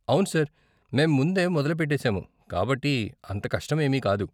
అవును సార్, మేము ముందే మొదలు పెట్టేసాము కాబట్టి అంత కష్టం ఏమీ కాదు.